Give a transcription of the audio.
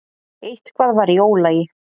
Eitthvað var í ólagi.